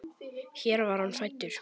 Hér var hann fæddur.